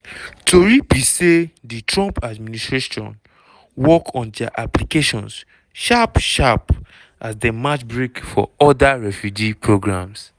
tori be say di trump administration work on dia applications sharp-sharp as dem match brake for oda refugee programs.